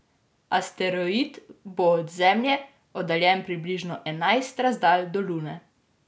Asteroid bo od Zemlje oddaljen približno enajst razdalj do Lune.